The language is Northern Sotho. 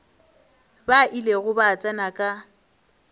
ba ilego ba tsena ka